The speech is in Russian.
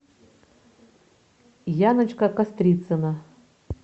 яночка кострицына